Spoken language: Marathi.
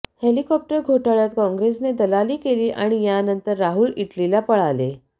हेलिकॉप्टर घोटाळ्यात काँग्रेसने दलाली केली आणि यानंतर राहुल इटलीला पळाले